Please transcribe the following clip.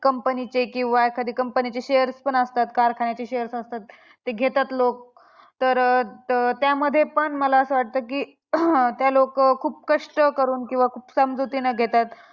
Company चे किंवा एखाद्या company चे shares पण असतात. कारखान्याचे shares असतात ते घेतात लोक तर त त्यामध्ये पण मला असं वाटतं की ते लोकं खूप कष्ट करून किंवा खूप समजुतीनं घेतात